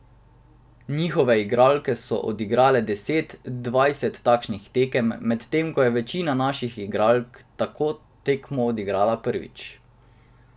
Njihove igralke so odigrale deset, dvajset takšnih tekem, medtem ko je večina naših igralk tako tekmo odigrala prvič.